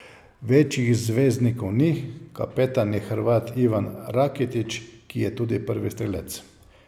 Večjih zvezdnikov ni, kapetan je Hrvat Ivan Rakitić, ki je tudi prvi strelec.